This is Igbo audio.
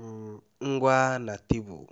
um ngwa na tebụl